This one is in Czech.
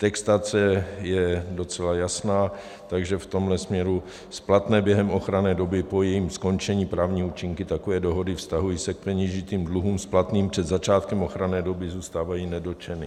Textace je docela jasná, takže v tomhle směru splatné během ochranné doby po jejím skončení právní účinky takové dohody vztahují se k peněžitým dluhům splatným před začátkem ochranné doby zůstávají nedotčeny.